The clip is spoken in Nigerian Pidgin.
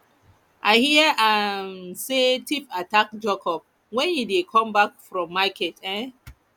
i hear um say thief attack jacob wen he dey come back from market um